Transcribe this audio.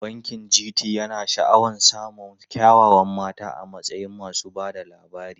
Bankin GT yana sha'awar samun kyawawan mata a matsayin masu ba da labari.